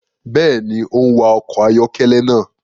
Béèni, o n wa ọkọ ayọkẹlẹ náà